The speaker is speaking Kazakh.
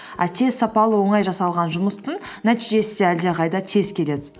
а тез сапалы оңай жасалған жұмыстың нәтижесі де әлдеқайда тез келеді